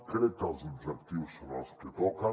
crec que els objectius són els que toquen